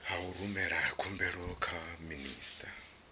u rumela khumbelo kha minista